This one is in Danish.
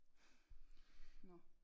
Nå